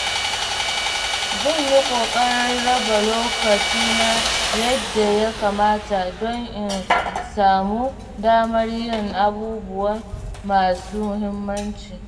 Zan yi ƙoƙarin raba lokacina yadda ya kamata don in samu damar yin abubuwan masu mahimmanci.